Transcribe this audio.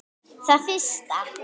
Það fyrsta.